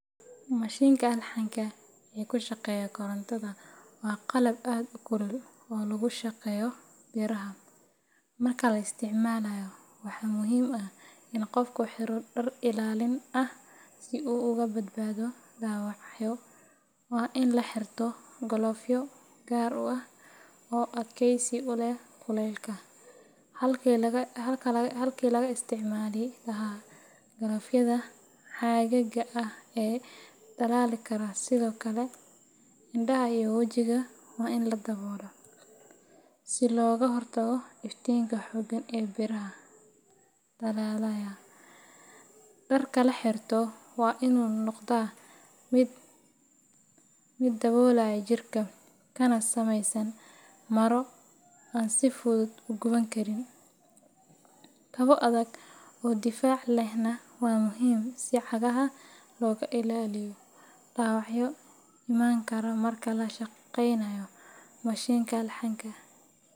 Mashinka alxanka kushaqeya korontadha wa qalab ad u kulul oo lagushaqeyo biraha, marka la isticmalayo, waxaa muhim ah in qofku dar ilalin ah , si u uga badbado dawacyo. wa in la xirto galofyo gar ah oo adkaysi u leh kulaylka, halki laga isticmali lahaa galofdyada caga ah ee dhalali kara. sidhokale, indaha iyo wajiga wa in laboola si looga hortago iftinka xoogan iyo biraha dhalalayaa. Dharka la xirto wa in uu noqdaa mid daboolaya jirka , kana sameysan maro an sifudud u guban karin. Kabo adag oo difaac lehna wa muhim si u cagaha looga ilaliyo dawacyo iman kara marka la shaqaynayo mashinka alxanka.